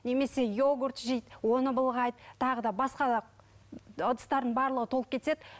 немесе иогурт жейді оны былғайды тағы да басқа да ыдыстардың барлығы толып кетеді